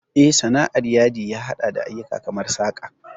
Eh, Sana'ar Yadi ya haɗa da ayyuka kamar saƙa.